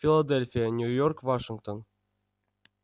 филадельфия нью-йорк вашингтон